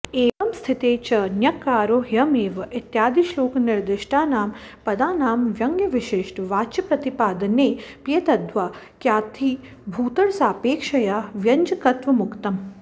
एवं स्थिते च ॑न्यक्कारो ह्ययमेव॑ इत्यादिश्लोकनिर्दिष्टानां पदानां व्यङ्ग्यविशिष्टवाच्यप्रतिपादनेऽप्येतद्वाक्यार्थीभूतरसापेक्षया व्यञ्जकत्वमुक्तम्